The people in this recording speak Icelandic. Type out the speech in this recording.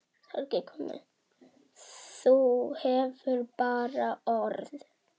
Þú hefur bara orð.